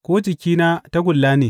Ko jikina tagulla ne?